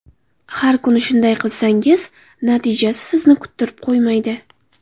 Har kuni shunday qilsangiz natijasi sizni kuttirib qo‘ymaydi.